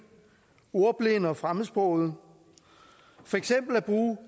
ordblinde og fremmedsprogede at bruge